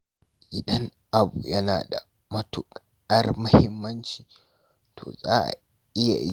Idan abu yana da matuƙar muhimmanci, to za a iya yi.